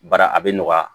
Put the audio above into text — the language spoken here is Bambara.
Bara a bɛ nɔgɔya